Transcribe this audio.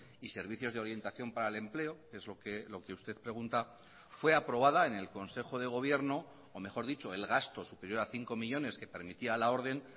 y servicios de orientación para el empleo es lo que usted pregunta fue aprobada en el consejo de gobierno o mejor dicho el gasto superior a cinco millónes que permitía la orden